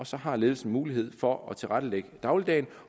så har ledelsen mulighed for at tilrettelægge dagligdagen